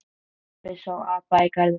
Pabbi sá apa í garðinum.